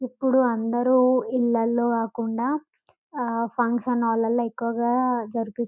ఎప్పుడు అందరు ఇళ్లల్లో కాకుండా ఫంక్షన్ హాళ్లలో ఎక్కువగా జరిపిస్తూ --